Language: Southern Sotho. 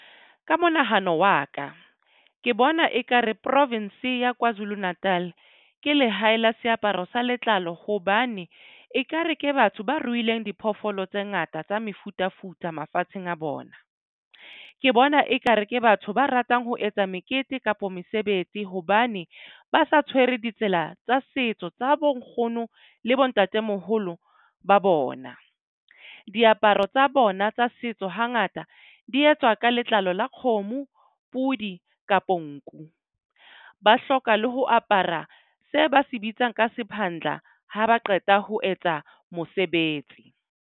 Ka monahano wa ka ke bona ekare province ya Kwazulu Natal ke lehae la seaparo sa letlalo hobane ekare ke batho ba ruileng diphoofolo tse ngata tsa mefutafuta mafatsheng a bona. Ke bona ekare ke batho ba ratang ho etsa mekete kapa mesebetsi hobane ba sa tshwere ditsela tsa setso tsa bo nkgono le bo ntatemoholo ba bona. Diaparo tsa bona tsa setso hangata di etswa ka letlalo la kgomo pudi kapo nku ba hloka le ho apara se ba se bitsang ka sephandla ha ba qeta ho etsa mosebetsi.